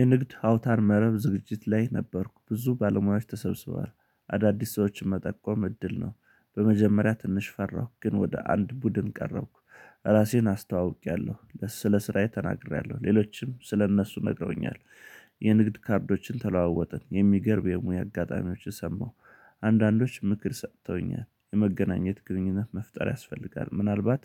የንግድ አውታር መረብ ዝግጅት ላይ ነበርኩ ብዙ ባለሙያዎች ተሰብስበዋል አዳዲስ ሰዎችን መጠቆም እድል ነው። በመጀመሪያ ትንሽ ፈራሁ ግን ወደ አንድ ቡድን ቀረብኩ። ራሴን አስተዋውቄያለሁ ስለ ስራዬ ተናግሬያለሁ ሌሎችም ስለ እነሱ ነግረውኛል። የንግድ ካርዶችን ተለዋወጥን የሚገርም የሙያ አጋጣሚዎች ሰማሁ። አንዳንዶች ምክር ሰጥተውኛል የመገናኘት ግንኙነት መፍጠር ያስፈልጋል ምናልባት